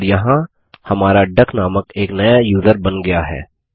और यहाँ हमारा डक नामक एक नया यूज़र बन गया है